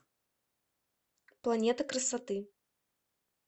планета красоты